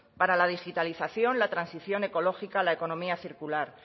para la digitalización la transición ecológica la economía circular